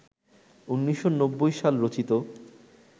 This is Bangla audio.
১৯৯০ সাল রচিত